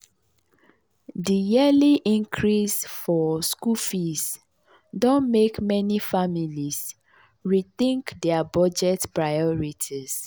di yearly increase for school fees don mek meni families rethink dia budget priorities.